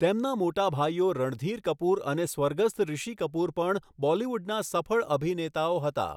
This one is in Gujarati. તેમના મોટા ભાઈઓ રણધીર કપૂર અને સ્વર્ગસ્થ ઋષિ કપૂર પણ બોલિવૂડના સફળ અભિનેતાઓ હતા.